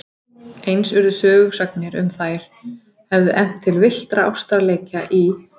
Eins urðu sögusagnir um að þær hefðu efnt til villtra ástarleikja í